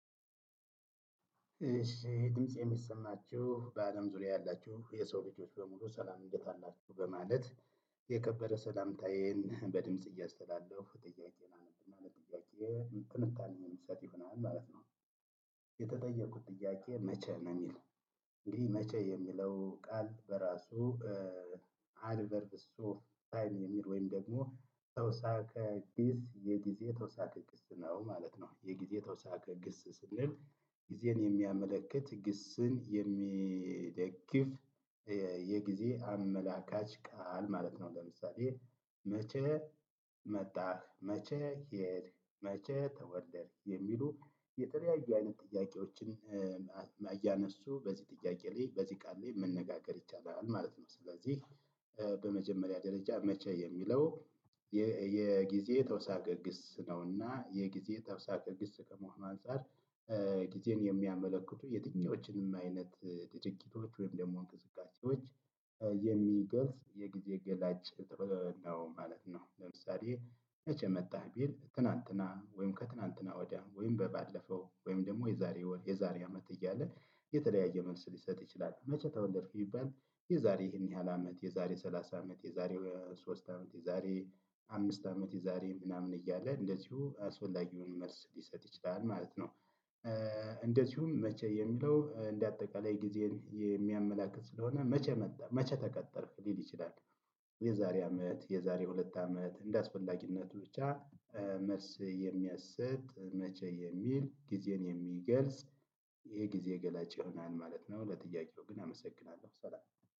ድምፄ ሚሰማቹ በአለም ዙሪያ ያላቹ የሰው ልጆች በሙሉ ሰላም እንዴት አላቹ በማለት? የከበረ ሰላምታዬን በድምጽ እያሰተላለፍኩ ጥያቄን አነባለው ማለት ነው ጥያቄ ትንታኔ የሚሰጥ ይሆናል ማለት ነው። የተጠየቁት ጥያቄ መቼ ነው የሚል? እንግዲህ መቼ የሚለው ቃል በራሱ። አድቨርድ ሶፍት ታይም የሚል ወይም ደግሞ ተውሳከ ግስ የጊዜ ተውሳከ ግስ ነው ማለት ነው። የጊዜ ተውሳከ ግስ ስንል። ጊዜን የሚያመለክት ግስን የሚደግፍ የጊዜ አመላካች ቃል ማለት ነው። ለምሳሌ። መቼ መጣህ መቼ ሄድክ መቼ ተወደድክ የሚሉ የተለያዩ አይነት ጥያቄዎችን። እያነሱ በዚህ ጥያቄ ላይ በዚህ ቃል ላይ መነጋገር ይቻላል ማለት ነው። ስለዚህ። በመጀመሪያ ደረጃ መቼ የሚለው ተውሳከ ግስ ነው እና የጊዜ ተውሳከ ግስ ከመሆኑ አንፃር። ጊዜን የሚያመለክቱ የትኛዎችንም አይነት ድርጊቶች ወይም ደሞ እንቅስቃሴዎች የሚገልጽ የጊዜ ገላጭ ነው ማለት ነው። ለምሳሌ መቼ መጣህ ቢል ትናንትና ወይም ከትናንትና ወዲያ ወይም በባለፈው ወይም ደሞ የዛሬ ወር የዛሬ አመት እያልን የተለያየ መልስ ሊሰጥ ይችላል። መቼ ተወለድክ ቢባል የዛሬ ይህን ያህል አመት የዛሬ ሰላሳ አመት የዛሬ ሶስት አመት የዛሬ አምስት አመት የዛሬ ምናምን እያለ እንደዚሁ አስፈላጊውን መልስ ሊሰጥ ይችላል ማለት ነው። እንደዚሁም መቼ የሚለው እንደ አጠቃላይ ጊዜን የሚያመላክት ስለሆነ መቼ መጣ መቼ ተቀጠርክ ሊል ይችላል። የዛሬ አመት የዛሬ ሁለት አመት እንደአስፈላጊነቱ ብቻ መልስ የሚያሰጥ መቼ የሚል ጊዜን የሚገልጽ የጊዜ ገላጭ ይሆናል ማለት ነው። ለጥያቄው ግን አመሰግናለው ሰላም።